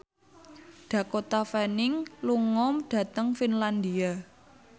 Dakota Fanning lunga dhateng Finlandia